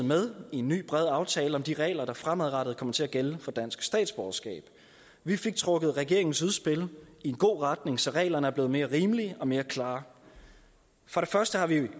med i en ny bred aftale om de regler der fremadrettet kommer til at gælde for dansk statsborgerskab vi fik trukket regeringens udspil i en god retning så reglerne er blevet mere rimelige og mere klare for det første har vi